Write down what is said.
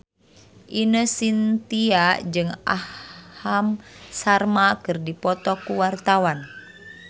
Ine Shintya jeung Aham Sharma keur dipoto ku wartawan